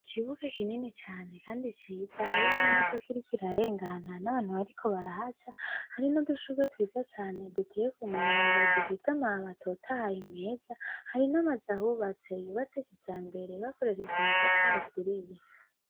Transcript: Ikibuga kinini cane kandi Ciza, hari n'imodok'irik'irarengana n'abantu bariko barahaca, hari n'udushurwe twiza cane duteye kumurongo dufis'amababi atotahaye neza, hari n'amaz'ahubatse, yubatse kijambere bakoreshej'amatafar'aturiye.